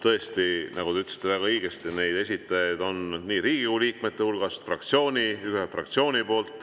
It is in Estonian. Tõesti, nagu te väga õigesti ütlesite, esitajate hulgas on nii Riigikogu liikmeid kui ka üks fraktsioon.